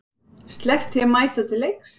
Sleppt því að mæta til leiks?